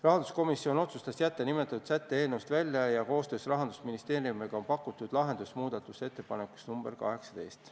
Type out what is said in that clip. Rahanduskomisjon otsustas jätta nimetatud sätte eelnõust välja ja koostöös Rahandusministeeriumiga on pakutud lahendus muudatusettepanekus nr 18.